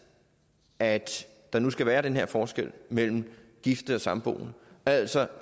at der nu skal være den her forskel mellem gifte og samboende altså